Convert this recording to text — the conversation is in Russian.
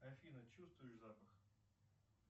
афина чувствуешь запах